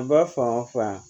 An ba fan o fan